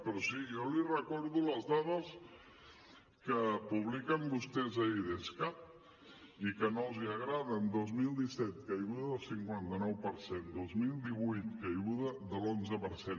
però sí jo li recordo les dades que publiquen vostès a idescat i que no els agraden dos mil disset caiguda del cinquanta nou per cent dos mil divuit caiguda de l’onze per cent